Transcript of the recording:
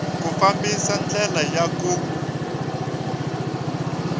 ku fambisa ndlela ya ku